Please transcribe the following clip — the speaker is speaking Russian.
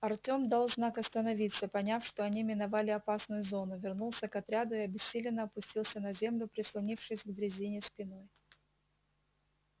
артём дал знак остановиться поняв что они миновали опасную зону вернулся к отряду и обессиленно опустился на землю прислонившись к дрезине спиной